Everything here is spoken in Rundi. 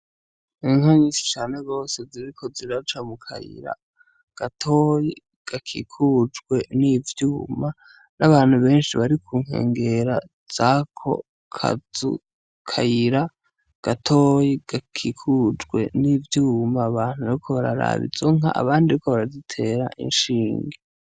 Inka nyinshi cane gose ziriko ziraca mu kayira gatoyi gakikujwe n'ivyuma n;abantu benshi bari kunkengera zako kayira gatoyi gakikujwe n'ivyuma abantu bariko bararaba izo nka abandi bariko barazitera inshinge.